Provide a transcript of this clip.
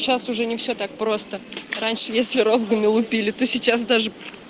сейчас уже не все так просто раньше если розгами лупили то сейчас даже